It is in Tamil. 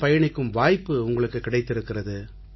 பயணிக்கும் வாய்ப்பு உங்களுக்குக் கிடைத்திருக்கிறது